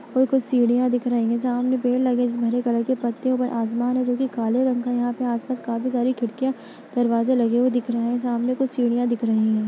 कुछ सीढियां दिख रही है सामने पेड़ लगे है जिसमे हरे कलर पत्ते है ऊपर आसमान है जोकि काले रंग का है यहाँ पे आस-पास काफ़ी सारी खिड़कियाँ दरवाजे लगे हुए दिख रहें हैं सामने कुछ सीढियां दिख रही है।